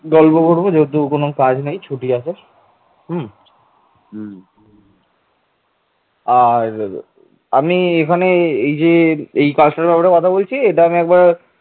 প্রাচীন গ্রিক ইতিহাসে বাংলাকে গঙ্গারিডাই এবং মগধকে প্রাসি হিসেবে উল্লেখ করা হয়েছে গ্রিক ইতিহাসে এই সংযুক্ত রাজ্যকে গঙ্গারিডাই ও প্রাসি বলে উল্লেখ করা হয়েছে